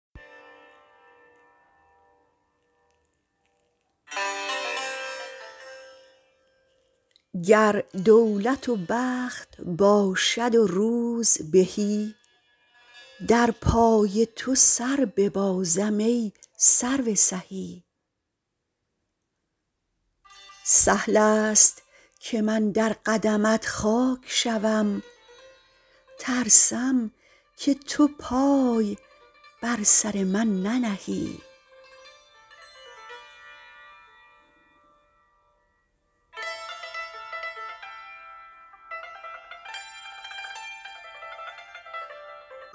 گر دولت و بخت باشد و روزبهی در پای تو سر ببازم ای سرو سهی سهل است که من در قدمت خاک شوم ترسم که تو پای بر سر من ننهی